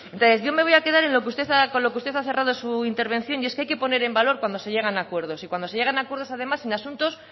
entonces yo me voy a quedar con lo que usted ha cerrado su intervención y es que hay que poner en valor cuando se llegan a acuerdos y cuando se llegan a acuerdos además en asuntos